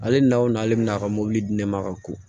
Ale n'a ale bɛna ka mobili di ne ma ka ko